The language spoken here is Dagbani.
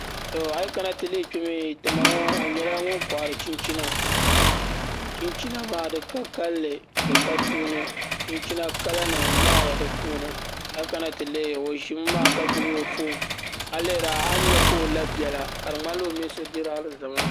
Ti ma ŋo o nyɛla ŋun kohari chinchina chinchina maa ti ka kanli di ka tuuni kala nim yahaya di puuni a kana ti lihi o ʒimi maa ka gbubi o foon a ni nyɛ ka o la biɛla ka di ŋmanila o mini so dirila alizama